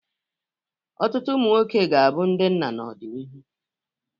Ọtụtụ ụmụ nwoke ga-abụ ndị nna n'ọdịnihu.